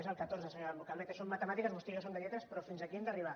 és el catorze senyora calvet són matemàtiques vostè i jo som de lletres però fins aquí hem d’arribar